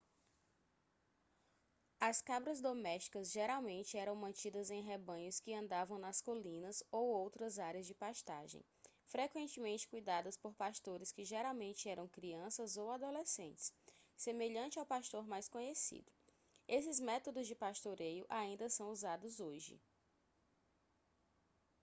as cabras domésticas geralmente eram mantidas em rebanhos que andavam nas colinas ou outras áreas de pastagem frequentemente cuidadas por pastores que geralmente eram crianças ou adolescentes semelhante ao pastor mais conhecido esses métodos de pastoreio ainda são usados hoje